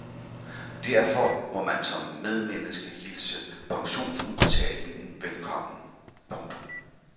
Derfor må man som medmenneske hilse pensionsudbetalingen velkommen. punktum